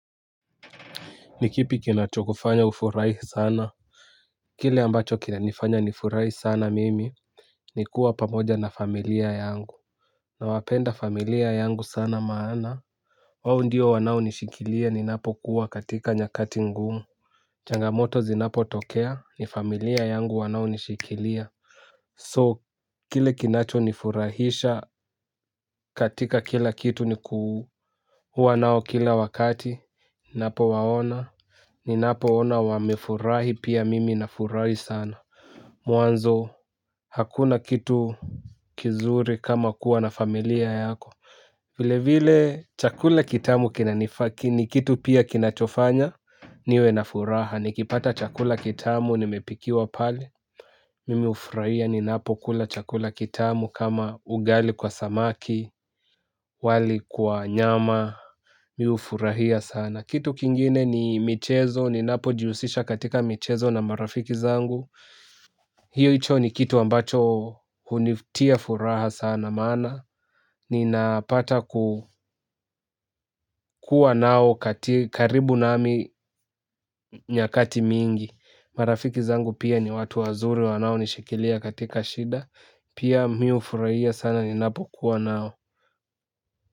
Nikipi kinacho kufanya ufurahi sana. Kile ambacho kinanifanya nifurahi sana mimi. Nikuwa pamoja na familia yangu na wapenda familia yangu sana maana wao ndio wanao nishikilia ninapo kuwa katika nyakati ngumu. Changamoto zinapo tokea ni familia yangu wanao nishikilia So kile kinacho nifurahisha katika kila kitu nikuu. Wanao kila wakati. Napo waona. Ninapo ona wamefurahi pia mimi nafurahi sana. Mwanzo hakuna kitu kizuri kama kuwa na familia yako vile vile chakula kitamu ni kitu pia kinachofanya niwe na furaha nikipata chakula kitamu nimepikiwa pale. Mimi hufurahia ninapokula chakula kitamu kama ugali kwa samaki. Wali kwa nyama mi hufurahia sana. Kitu kingine ni michezo, ninapojihusisha katika michezo na marafiki zangu. Hiyo hicho ni kitu ambacho hunitia furaha sana maana. Ninapata kukua nao karibu nami nyakati mingi. Marafiki zangu pia ni watu wazuri wanaonishikilia katika shida. Pia mi hufurahia sana ninapo kuwa nao.